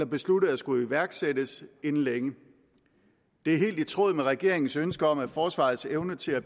besluttet at skulle iværksættes inden længe det er helt i tråd med regeringens ønske om at forsvarets evne til at